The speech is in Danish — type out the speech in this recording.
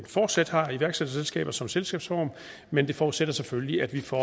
fortsat har iværksætterselskaber som selskabsform men det forudsætter selvfølgelig at vi får